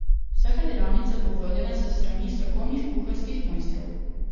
Vsaka delavnica bo vodena s strani strokovnih kuharskih mojstrov.